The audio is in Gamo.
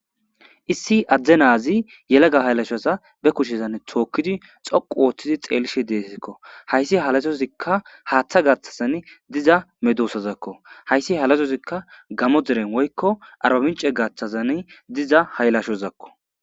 issi adde naazi yelega haylashaza be kushezanne tookkidi xoqu ooththidi xeelishe deesikko hayssi halasozikka haaththa gaththazan diza medoosazakko hayssi halasozikka gamo deren woykko arbabince gaththazan diza haylashozakko